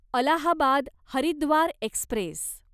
Allahabad Haridwar Express